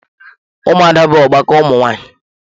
Ụmụada bụ ọgbakọ ụmụ nwanyị.